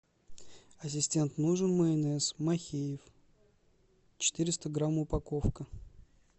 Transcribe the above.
ассистент нужен майонез махеев четыреста грамм упаковка